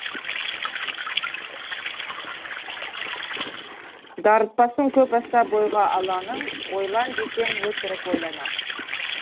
дарытпасын көп аса бойға алаңын ойлан десең өтірік ойланамын